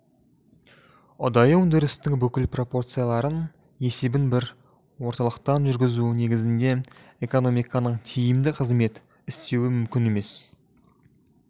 ұдайы өндірістің бүкіл пропорцияларының есебін бір орталықтан жүргізу негізінде экономиканың тиімді қызмет істеуі мүмкін емес